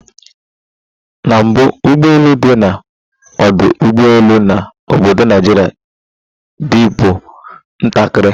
na mbu, ugbo elu di na odu ugbo elu na obodo naijiria dibu ntakiri